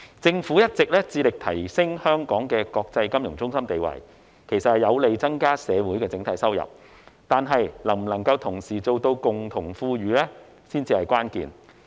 政府一直致力提升香港的國際金融中心地位，其實有利增加社會整體收入，但能否同時做到共同富裕才是關鍵。